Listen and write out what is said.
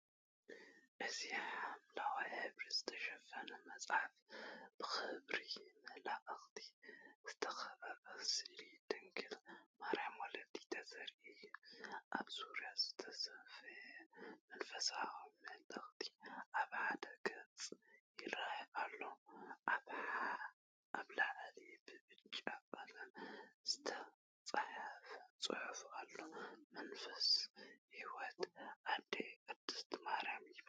እዚ ብሐምላይ ሕብሪ ዝተሸፈነ መጽሓፍ ብኽብሪ መላእኽቲ ዝተኸበበ ስእሊ ድንግል ማርያምን ውላዳን ዘርኢ እዩ። ኣብ ዙርያኡ ዝተሰፍየ መንፈሳዊ ምልክት ኣብ ሓደ ገጽ ይራኣዩ ኣለው። ኣብ ላዕሊ ብብጫ ቀለም ዝተጻሕፈ ጽሑፍ ኣሎ፡“መጽሓፍ ሕይወት ኣዴና ቅድስት ማርያም” ይብል።